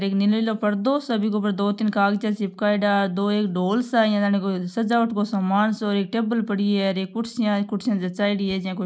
एक नीलो नीलो पर्दो सो बीके ऊपर दो तीन कागज चिपकायोड़ा दो एक ढोल सा है इया जाने कोई सजावट को सामान सो एक टेबल पड़ी है एक कुर्सियां ही कुर्सियां जचायोडी है जिया कोई --